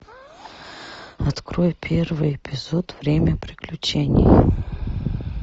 открой первый эпизод время приключений